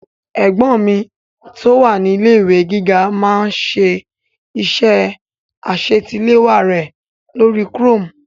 Ẹ̀gbọ́n mi tó wà ní ilé-ìwé ìwé gíga máá ń ṣe iṣẹ́ àṣetiléwá rẹ̀ lórí chrome